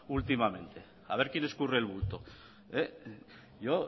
últimamente a ver quién escurre el bulto yo